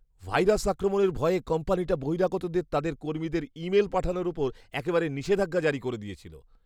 Virus আক্রমণের ভয়ে কোম্পানিটা বহিরাগতদের তাদের কর্মীদের ইমেইল পাঠানোর উপর একেবারে নিষেধাজ্ঞা জারি করে দিয়েছিল!